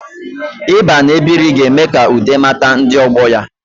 Ịba na-ebiri ga-eme ka Ude mata ndi ogbo ya